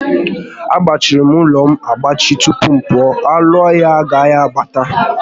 Agbachirim ụlọ m agbachi tupu m pụọ, anụ ọhịa agaghi abata